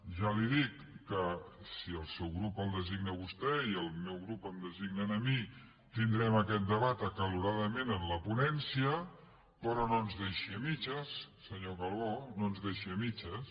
ja li dic que si el seu grup el designa a vostè i el meu grup em designa a mi tindrem aquest debat acaloradament en la ponència però no ens deixi a mitges senyor calbó no ens deixi a mitges